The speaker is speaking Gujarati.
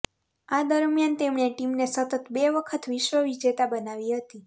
આ દરમિયાન તેમણે ટીમને સતત બે વખત વિશ્વ વિજેતા બનાવી હતી